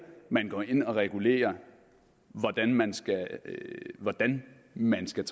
man går ind og regulerer hvordan man hvordan man skal